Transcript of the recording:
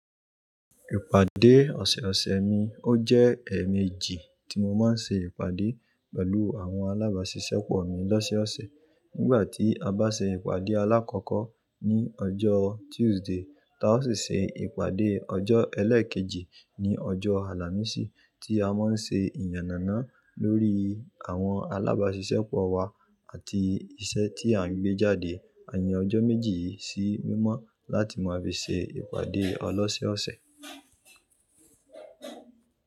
Ìpàdé ọ̀sọ̀ọ̀sẹ̀ mi ó jẹ́ ẹ̀ẹ̀mejì tí mo máa ń ṣe ìpàdé pẹ̀lú àwọn alábáṣiṣẹ́pọ̀ mi lọ́sẹ́ọ̀sẹ̀. Nígbà tí a bá ṣe ìpàdé alákọ́kọ́ ní ọjọ́ Tuesday, táa ó sì ṣe ìpàdé ọjọ́ Ẹlẹ́ẹ̀keji ní ọjọ́ Àlàmísì tí a máa ń ṣe ìyànnàná lórí àwọn alábáṣiṣẹ́pọ̀ wa àti iṣẹ́ tí à ń gbé jáde. A yan ọjọ́ méjì yìí sí mímọ́ láti máa fi ṣe ìpàdé ọlọ́sẹ́ọ̀sẹ̀